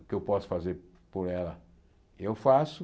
O que eu posso fazer por ela, eu faço.